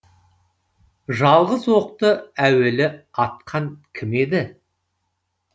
жалғыз оқты әуелі атқан кім еді